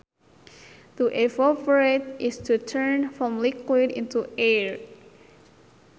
To evaporate is to turn from liquid into air